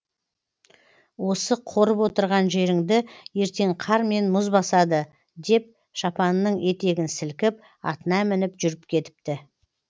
осы қорып отырған жеріңді ертең қар мен мұз басады деп шапанының етегін сілкіп атына мініп жүріп кетіпті